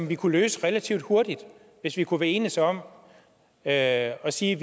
vi kunne løse relativt hurtigt hvis vi kunne enes om at sige